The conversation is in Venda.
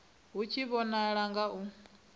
hu tshi vhonala nga u